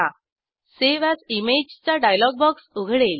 save as image चा dialog box उघडेल